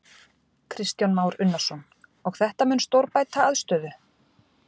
Kristján Már Unnarsson: Og þetta mun stórbæta aðstöðu?